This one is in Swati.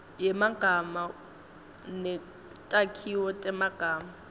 yemagama netakhiwo temagama